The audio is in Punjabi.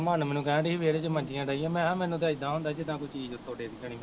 ਮੰਨ ਮੈਨੂੰ ਕਹਿਣਡੀ ਸੀ ਵਿਹੜੇ ਚ ਮੰਜੀਆਂ ਡਾਹੀਆਂ ਮੈਂ ਕਿਹਾ ਮੈਨੂੰ ਤਾਂ ਏਦਾਂ ਹੁੰਦਾ ਜਿੱਦਾਂ ਕੋਈ ਚੀਜ਼ ਉੱਤੋਂ ਡਿੱਗ ਪੈਣੀ।